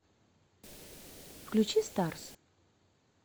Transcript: включи старс